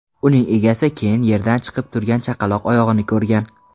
Uning egasi keyin yerdan chiqib turgan chaqaloq oyog‘ini ko‘rgan.